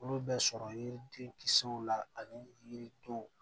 Olu bɛ sɔrɔ yiri den kisɛw la ani yiri yiridenw